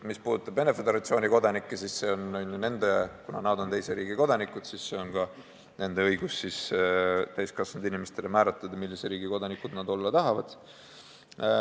Mis puudutab Venemaa Föderatsiooni kodanikke, siis kuna nad on teise riigi kodanikud, siis on neil täiskasvanud inimestena õigus ise määrata, millise riigi kodanikud nad olla tahavad.